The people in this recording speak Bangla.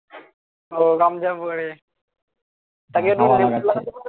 ও গামছা পরে তাকে একটু মেশিন লাগাতে বলো